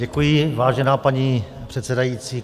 Děkuji, vážená paní předsedající.